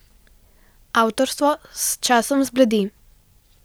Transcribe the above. Avtorstvo s časom zbledi.